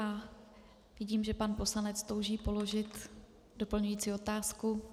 A vidím, že pan poslanec touží položit doplňující otázku.